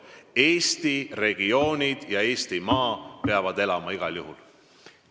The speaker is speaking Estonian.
Eesti regioonides, maal peab elu igal juhul edasi kestma.